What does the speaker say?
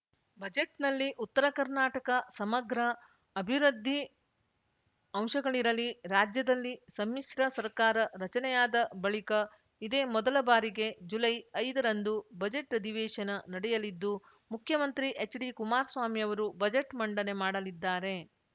ಬಜೆಟ್‌ನಲ್ಲಿ ಉತ್ತರಕರ್ನಾಟಕ ಸಮಗ್ರ ಅಭಿವೃದ್ಧಿ ಅಂಶಗಳಿರಲಿ ರಾಜ್ಯದಲ್ಲಿ ಸಮ್ಮಿಶ್ರ ಸರ್ಕಾರ ರಚನೆಯಾದ ಬಳಿಕ ಇದೇ ಮೊದಲ ಬಾರಿಗೆ ಜುಲೈ ಐದ ರಂದು ಬಜೆಟ್‌ ಅಧಿವೇಶನ ನಡೆಯಲಿದ್ದು ಮುಖ್ಯಮಂತ್ರಿ ಎಚ್‌ಡಿ ಕುಮಾರ್ ಸ್ವಾಮಿಯವರು ಬಜೆಟ್‌ ಮಂಡನೆ ಮಾಡಲಿದ್ದಾರೆ